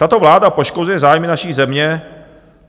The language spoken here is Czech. Tato vláda poškozuje zájmy naší země.